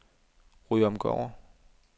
Ryomgård